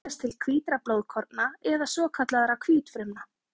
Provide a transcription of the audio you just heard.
Eitilfrumur teljast til hvítra blóðkorna eða svokallaðra hvítfrumna.